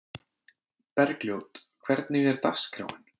Bergljót, hvernig er dagskráin?